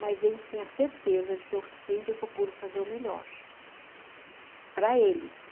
Mas eles têm a certeza de que eu sempre procuro fazer o melhor para eles.